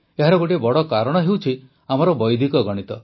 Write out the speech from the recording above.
ଏହାର ଗୋଟିଏ ବଡ଼ କାରଣ ହେଉଛି ଆମର ବୈଦିକ ଗଣିତ